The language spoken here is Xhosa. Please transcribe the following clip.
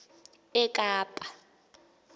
ekapa